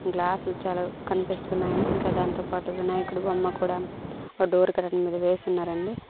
గ్లాసులు చాలా కనిపిస్తున్నాయని ఇంకా దాంతోపాటు వినాయకుడు బొమ్మ కూడా ఆ డోర్ కడ వేసున్నారండి--